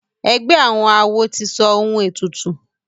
egbé àwọn àwo tí sọ òun ètùtù.